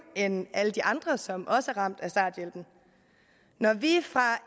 end alle de andre som også ramt af starthjælpen når vi fra